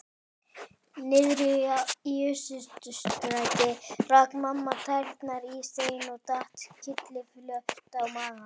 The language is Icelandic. Niðri í Austurstræti rak mamma tærnar í stein og datt kylliflöt á magann.